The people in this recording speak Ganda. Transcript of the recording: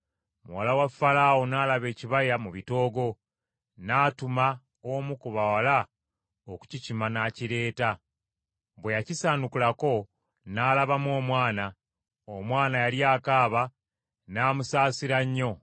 Bwe yakisaanukulako, n’alabamu omwana. Omwana yali akaaba, n’amusaasira nnyo, n’agamba nti, “Ono y’omu ku baana abawere aba Baebbulaniya.”